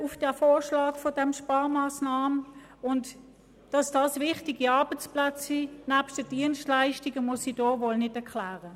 Dass es sich nebst den Dienstleistungen um wichtige Arbeitsplätze handelt, muss ich wohl nicht erklären.